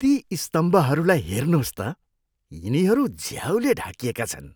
ती स्तम्भहरूलाई हेर्नुहोस् त। यिनीहरू झ्याउले ढाकिएका छन्।